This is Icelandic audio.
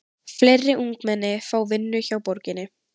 Fleiri ungmenni fá vinnu hjá borginni